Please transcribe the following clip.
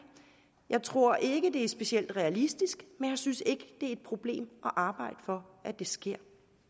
jeg tror ikke det er specielt realistisk men jeg synes ikke det er et problem at arbejde for at det sker